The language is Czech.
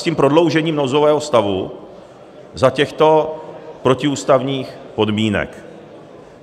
s tím prodloužením nouzového stavu za těchto protiústavních podmínek.